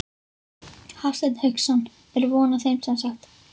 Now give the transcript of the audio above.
Hafsteinn Hauksson: Er von á þeim semsagt?